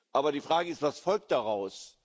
Aber die Frage ist Was folgt daraus?